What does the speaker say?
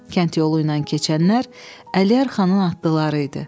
Kənd yolu ilə keçənlər Əliyar Xanın atlıları idi.